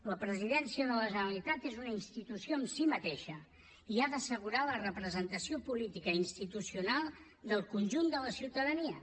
la presidència de la generalitat és una institució en si mateixa i ha d’assegurar la representació política i institucional del conjunt de la ciutadania